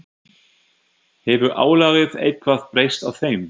Hefur álagið eitthvað breyst á þeim?